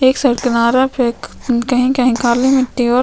एक सल्तनरा पे कही-कही काली मिट्टी--